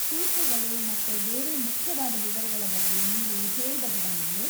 ಶುಲ್ಕಗಳು ಮತ್ತೆ ಬೇರೆ ಮುಖ್ಯವಾದ ವಿವರಗಳ ಬಗ್ಗೆ ನೀವು ಹೇಳ್ಬಹುದಾ ನಂಗೆ?